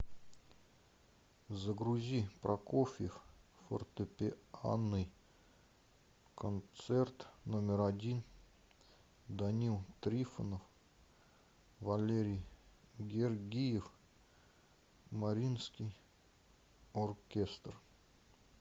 загрузи прокофьев фортепианный концерт номер один данил трифонов валерий гергиев мариинский оркестр